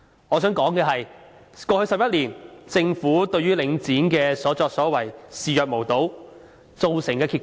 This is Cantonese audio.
我想指出，過去11年，政府對於領展的所作所為視若無睹，造成甚麼結果呢？